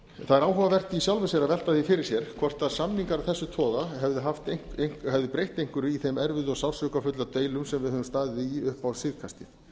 er áhugavert í sjálfu sér að velta því fyrir sér hvort samningar af þessum toga hefðu breytt einhverju í þeim erfiðu og sársaukafullu deilum sem við höfum staðið í upp á síðkastið